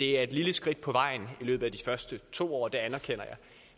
det er et lille skridt på vejen i løbet af de første to år det anerkender jeg